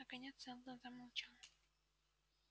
наконец сэлдон замолчал